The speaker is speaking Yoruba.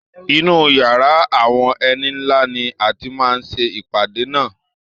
Inú yàrá àwọn ẹni ńlá ni a ti máa ṣe ìpàdé náà.